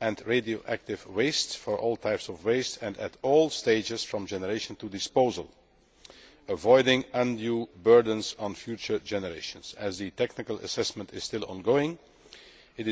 and radioactive waste for all types of waste and at all stages from generation to disposal, avoiding undue burdens on future generations. As the technical assessment is still ongoing, it